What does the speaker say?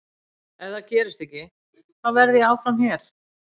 Ef það gerist ekki, þá verð ég áfram hér.